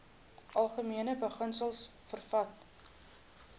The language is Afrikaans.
algemene beginsels vervat